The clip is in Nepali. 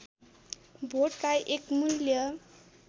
भोटलाई एक मूल्य